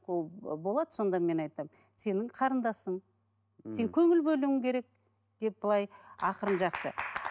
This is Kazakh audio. ол болады сонда мен айтамын сенің қарындасың мхм сен көңіл бөлуің керек деп былай ақырын жақсы